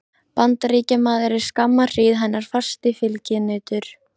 Bandaríkjamaður er skamma hríð hennar fasti fylginautur.